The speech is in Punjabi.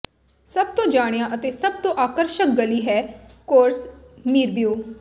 ਸਭ ਤੋਂ ਜਾਣਿਆ ਅਤੇ ਸਭ ਤੋਂ ਆਕਰਸ਼ਕ ਗਲੀ ਹੈ ਕੋਰਸ ਮੀਰਬੀਊ